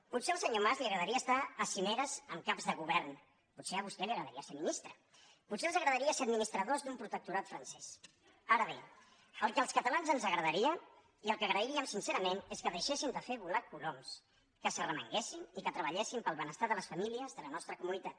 potser al senyor mas li agradaria estar a cimeres amb caps de govern potser a vostè li agradaria ser ministra potser els agradaria ser administradors d’un protectorat francès ara bé el que als catalans ens agradaria i el que agrairíem sincerament és que deixessin de fer volar coloms que s’arremanguessin i que treballessin pel benestar de les famílies de la nostra comunitat